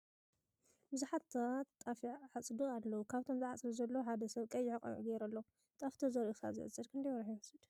ብዙሓት ሰባት ጣፍ ይዕፅዱ ኣለዉ ካብቶም ዝዓፅዱ ዘለዉ ሓደ ሰብ ቀይሕ ቆቢዕ ገይሩ ኣሎ ። ጣፍ ተዘሪኡ ክሳብ ዝዕፀድ ክንደይ ወርሒ ይወስድ ?